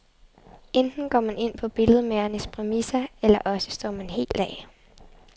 Enten går man ind på billedmagerens præmisser, eller også står man helt af.